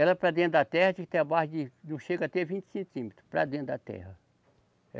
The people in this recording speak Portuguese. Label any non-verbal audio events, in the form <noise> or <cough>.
Ela para dentro da terra, <unintelligible> a base de, não chega a ter vinte centímetros para dentro da terra.